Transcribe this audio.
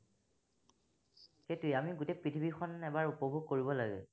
সেইটোৱেই আমি গোটেই পৃথিৱীখন এবাৰ উপভোগ কৰিব লাগে।